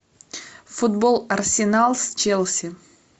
футбол арсенал с челси